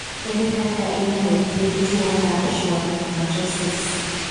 Ere kaka inyalo thiedh tuo mar schwannomatosis?